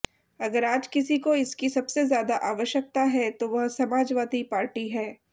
अगर आज किसी को इसकी सबसे ज्यादा आवश्यकता है तो वह समाजवादी पार्टी है